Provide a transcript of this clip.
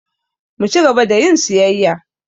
Mu ci gaba da yin siyayya.